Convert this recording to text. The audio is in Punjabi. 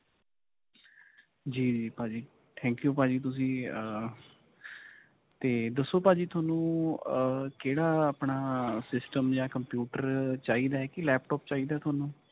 ਜੀ ਭਾਜੀ. thank you ਭਾਜੀ ਤੁਸੀਂ ਅਅ 'ਤੇ ਦੱਸੋ ਭਾਜੀ ਤੁਹਾਨੂੰ ਅਅ ਕਿਹੜਾ ਆਪਣਾ system ਜਾਂ computer ਚਾਹੀਦਾ ਕਿ laptop ਚਾਹਿਦਾ ਤੁਹਾਨੂੰ?